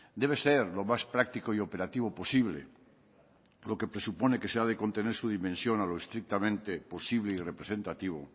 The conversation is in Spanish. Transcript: debe ser lo más práctico y operativo posible lo que presupone que se ha de contener su dimensión a lo estrictamente posible y representativo